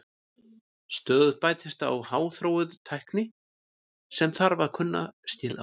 Stöðugt bætist við háþróuð tækni sem þarf að kunna skil á.